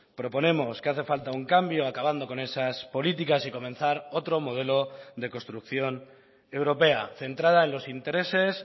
proponemos que hace falta un cambio acabando con esas políticas y comenzar otro modelo de construcción europea centrada en los intereses